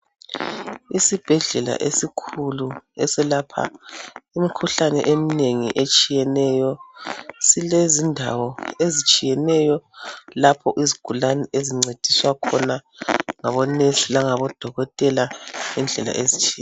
Isibhedlela esikhulu eselapha imikhuhlahlane, eminengi etshiyeneyo. Silezindawo ezitshiyeneyo. Lapho izigulane ezincediswa khona, ngabonesi, langabodokotela, ngendlela ezitshiye..